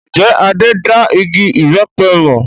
Ǹjẹ́ Adé da igi ìbẹpẹ mọ?